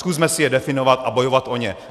Zkusme si je definovat a bojovat o ně.